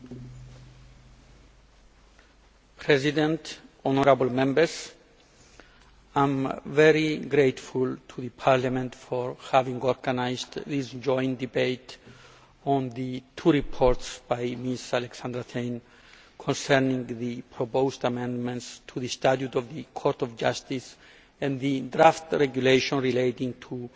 Mr President, honourable Members, I am very grateful to Parliament for having organised this joint debate on the two reports by Ms Alexandra Thein concerning the proposed amendments to the Statute of the Court of Justice and the draft regulation relating to